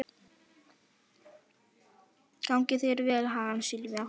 Gangi þér allt í haginn, Silvía.